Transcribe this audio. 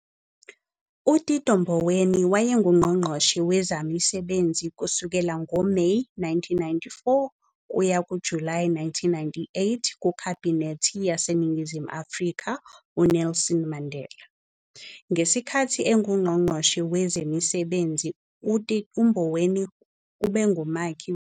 UTito Mboweni wayengunqongqoshe wezaMisebenzi kusukela ngoMeyi 1994 kuya kuJulayi 1998 kuKhabhinethi yaseNingizimu Afrika uNelson Mandela. Ngesikhathi enguNgqongqoshe wezeMisebenzi uMboweni obengumakhi wezomthetho waseNingizimu Afrika wokuqeda umsebenzi wobandlululo.